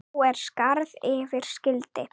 Nú er skarð fyrir skildi.